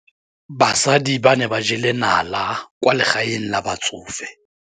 Basadi ba ne ba jela nala kwaa legaeng la batsofe.